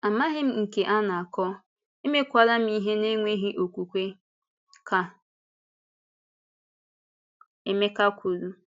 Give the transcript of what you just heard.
“Amaghị m nke a na-akọ, emekwarám ihe n’enweghị okwukwe,” ka Emeka kwuru.